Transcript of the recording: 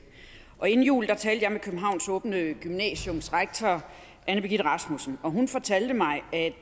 inden jul talte jeg med københavns åbne gymnasiums rektor anne birgitte rasmussen og hun fortalte mig at